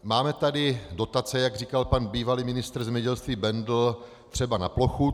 Máme tady dotace, jak říkal pan bývalý ministr zemědělství Bendl, třeba na plochu.